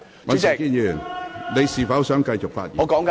尹兆堅議員，你是否想繼續發言？